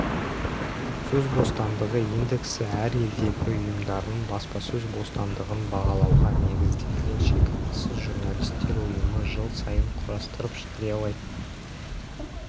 сөз бостандығы индексі әр елдегі ұйымдардың баспасөз бостандығын бағалауға негізделген шекарасыз журналистер ұйымы жыл сайын құрастырып жариялайтын